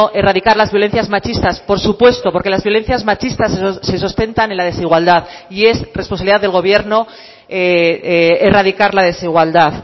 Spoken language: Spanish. erradicar las violencias machistas por supuesto porque las violencias machistas se sustentan en la desigualdad y es responsabilidad del gobierno erradicar la desigualdad